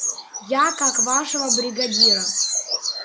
я как вашего бригадира